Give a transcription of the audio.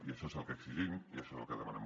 i això és el que exigim i això és el que demanem